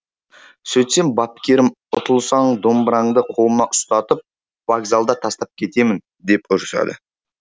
сөйтсем бапкерім ұтылсаң домбыраңды қолыңа ұстатып вокзалда тастап кетемін деп ұрысады